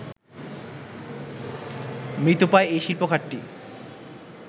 মৃতপ্রায় এই শিল্প খাতটি